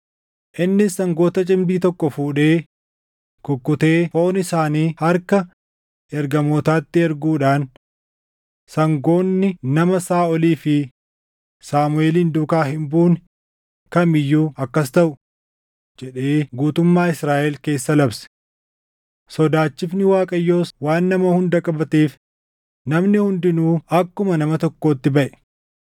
Innis sangoota cimdii tokko fuudhee kukkutee foon isaanii harka ergamootaatti erguudhaan, “Sangoonni nama Saaʼolii fi Saamuʼeelin duukaa hin buune kamii iyyuu akkas taʼu” jedhee guutummaa Israaʼel keessa labse. Sodaachifni Waaqayyoos waan nama hunda qabateef namni hundinuu akkuma nama tokkootti baʼe.